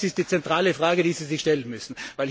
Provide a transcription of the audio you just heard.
Das ist die zentrale Frage, die Sie sich stellen müssen.